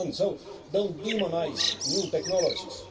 So do not demonise new technologies.